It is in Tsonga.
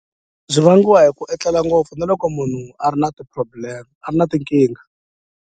Byi vangiwa hi ku etlela ngopfu na loko munhu a ri na ti-problem a ri na tinkingha.